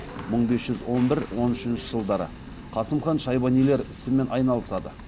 мың бес жүз он бір он үшінші жылдары қасым хан шайбанилер ісімен айналысады